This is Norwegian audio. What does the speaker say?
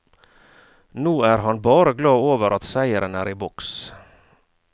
Nå er han bare glad over at seieren er i boks.